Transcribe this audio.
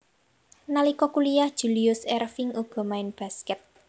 Nalika kuliyah Julius Erving uga main baskèt